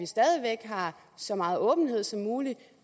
stadig væk er så meget åbenhed som muligt